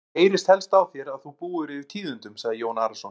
Mér heyrist helst á þér að þú búir yfir tíðindum, sagði Jón Arason.